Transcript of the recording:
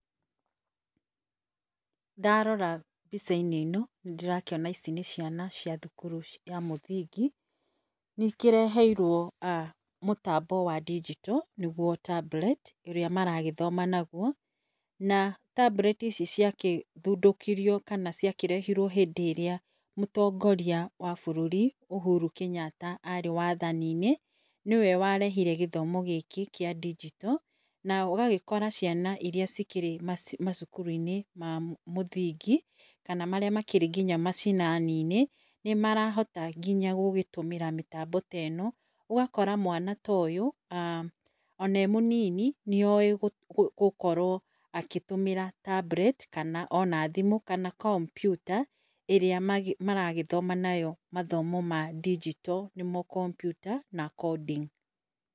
Ndarora mbica-inĩ ino nĩndĩrakĩona ici nĩ ciana cia thukuru wa mũthingi nĩkĩreheirwo mũtambo wa ndinjito nĩguo tablet ũrĩa maragĩthoma naguo na tablet icio ciaguthũndĩkirio kana ciakĩrehirwo hĩndĩ ĩrĩa mũtongoria wa bũrũri ũhuru wa Kenyatta arĩ wathaninĩ nĩwe warehire gĩthomo kĩa ndinjito na ũgagĩkora ciana irĩa cikĩrĩ macukuru -inĩ ma mũthingi kana makĩrĩ macinani nĩ marahota nginya gũtũmĩra mĩtambo ĩo. Ũgakora mwana ta ũyũ ona e mũnini nĩoĩ gũkorwo agĩtũmĩra tablet kana ona thimũ kana komputa ĩrĩa maragĩthoma nayo mathomo mandinjito nĩmo ma komputa na coding.